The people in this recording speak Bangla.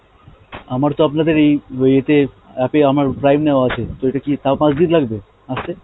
আমার তো আপনাদের এই ইয়েতে app এ আমার prime নেওয়া আছে, তো এটা কি তাও পাঁচদিন লাগবে আসতে?